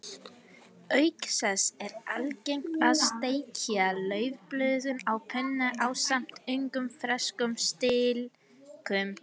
Auk þess er algengt að steikja laufblöðin á pönnu ásamt ungum ferskum stilkum.